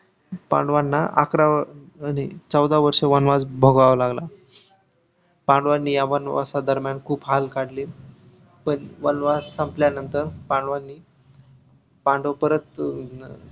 पांडवांना आकारा नाही चौदा वर्ष वनवास भोगावा लागला पांडवांनी या वनवासादरम्यान खूप हाल काढल पण वनवास संपल्यानंतर पांडवांनी पांडव परत अं